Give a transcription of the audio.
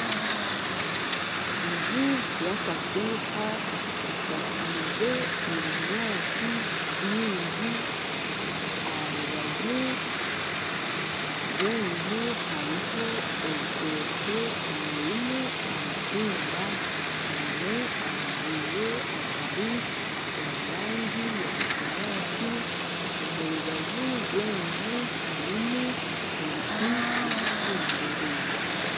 Enju yakafuuha eshakiize ebinyaatsi bingi aha rubaju rw'enju hariho orutokye orurimu emitumba eyine amareere agari omu rangi ya kinyaatsi. Omu rubaju rw'enju harimu ebiti ebitsimbire.